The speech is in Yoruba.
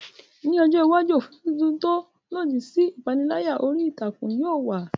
Ní ọjọ́ iwájú, òfin tuntun tó lòdì sí ìpániláyà orí ìtàkùn yóò wà.